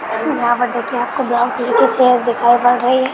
यहाँ पर देखिए आपको बहुत वील की चेयरस दिखाई पड़ रही है।